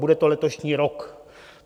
Bude to letošní rok.